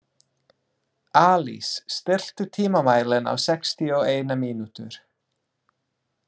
Alís, stilltu tímamælinn á sextíu og eina mínútur.